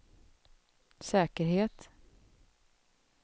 säkerhet